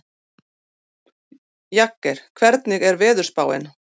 Jagger, hvernig er veðurspáin?